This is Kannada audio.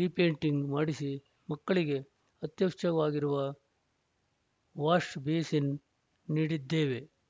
ರೀಪೇಂಟಿಂಗ್‌ ಮಾಡಿಸಿ ಮಕ್ಕಳಿಗೆ ಅತ್ಯವಶ್ಯಕವಾಗಿರುವ ವಾಷ್‌ಬೇಸಿನ್‌ ನೀಡಿದ್ದೇವೆ